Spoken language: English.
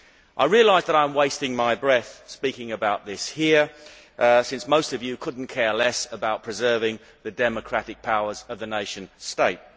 I realise that I am wasting my breath in speaking about this here, since most of you could not care less about preserving the democratic powers of the nation state.